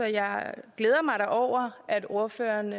jeg glæder mig da over at ordføreren